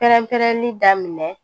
Pɛrɛn-pɛrɛnni daminɛ